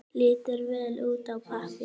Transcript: Lítur vel út á pappír.